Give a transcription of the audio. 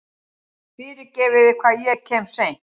Fyrirgefiði hvað ég kem seint.